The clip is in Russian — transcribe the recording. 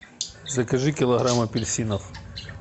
закажи килограмм апельсинов